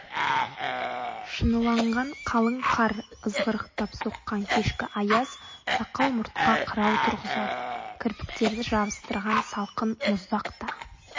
шыныланған қалың қар ызғырықтап соққан кешкі аяз сақал мұртқа қырау тұрғызады кірпіктерді жабыстырған салқын мұздақ та